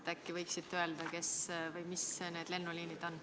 Äkki võiksite öelda, kes või mis need lennuliinid on.